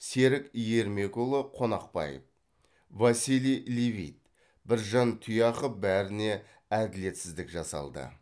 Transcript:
серік ермекұлы қонақбаев василий левит біржан тұяқов бәріне әділетсіздік жасалды